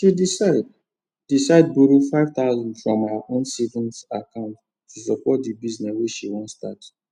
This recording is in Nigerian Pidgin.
she decide decide borrow 5000 from her own savings account to support the business wey she wan start